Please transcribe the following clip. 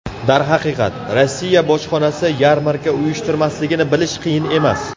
Darhaqiqat, Rossiya bojxonasi yarmarka uyushtirmasligini bilish qiyin emas.